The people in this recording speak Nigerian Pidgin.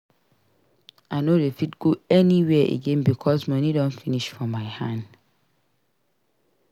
I no dey fit go anywhere again because moni don finish for my hand.